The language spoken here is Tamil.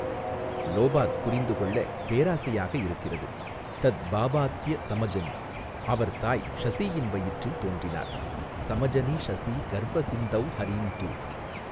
லோபாத் புரிந்து கொள்ள பேராசையாக இருக்கிறது தத் பாவாத்ய ஸமஜனி அவர் தாய் ஷசீயின் வயிற்றில் தோன்றினார் ஸமஜனி ஷசீ கர்ப ஸிந்தௌ ஹரீந்து.